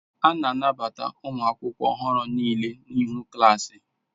A na-anabata ụmụ akwụkwọ ọhụrụ niile n'ihu klaasi.